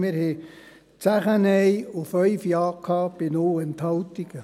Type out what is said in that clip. Wir hatten 10 Nein und 5 Ja bei 0 Enthaltungen.